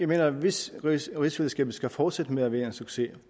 mener at hvis rigsfællesskabet skal fortsætte med at være en succes